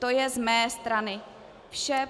To je z mé strany vše.